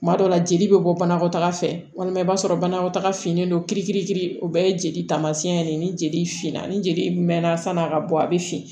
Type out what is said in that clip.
Tuma dɔw la jeli bɛ bɔ banakɔtaga fɛ walima i b'a sɔrɔ banakɔtaga finnen don kirikitiriki o bɛɛ ye jeli taamasiyɛn ye ni jeli finna ni jeli mɛnna san'a ka bɔ a bɛ fin